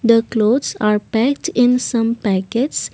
the clothes are packed in some packets.